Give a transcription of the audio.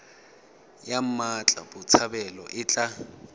ya mmatla botshabelo e tla